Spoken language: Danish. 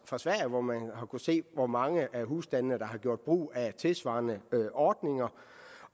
fra sverige hvor man har kunnet se hvor mange af husstandene der har gjort brug af tilsvarende ordninger